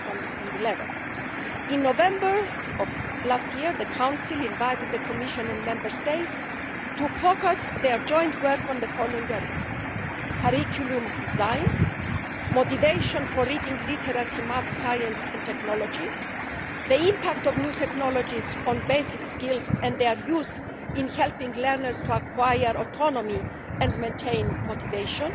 in 2011. In November 2010, the Council invited the Commission and Member States to focus their joint work on the following areas curriculum design, motivation for reading, literacy, maths, science and technology, the impact of new technologies on basic skills and their use in helping learners to acquire autonomy and maintain motivation,